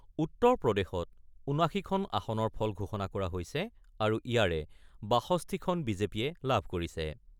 উত্তৰপ্ৰদেশত ৭৯খন আসনৰ ফলাফল ঘোষণা কৰা হৈছে আৰু ইয়াৰে ৬২খন বি জে পিয়ে লাভ কৰিছে।